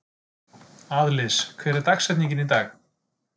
Aðlis, hver er dagsetningin í dag?